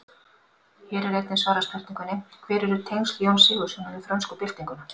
Hér er einnig svarað spurningunni: Hver eru tengsl Jóns Sigurðssonar við frönsku byltinguna?